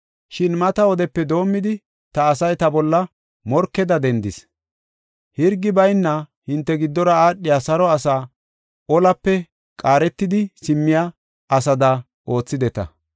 Shin mata wodepe doomidi, ta asay ta bolla morkeda dendis. Hirgi bayna hinte giddora aadhiya saro asaa olape qaaretidi simmiya asada oothideta.